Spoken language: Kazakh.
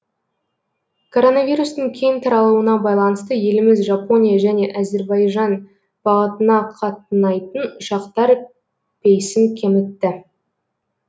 короновирустың кең таралуына байланысты еліміз жапония және әзірбайжан бағытына қатынайтын ұшақтар рейсін кемітті